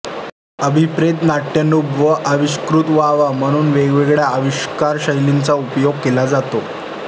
अभिप्रेत नाट्यानुभ व आविष्कृत व्हावा म्हणून वेगवेगळ्या आविष्कारशैलींचा उपयोग केला जातो